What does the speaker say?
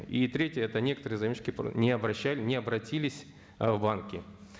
и третье это некоторые заемщики не обратились ы в банки